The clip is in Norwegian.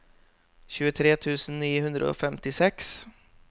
tjuetre tusen ni hundre og femtiseks